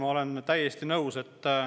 Ma olen täiesti nõus.